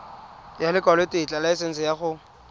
ya lekwalotetla laesense ya go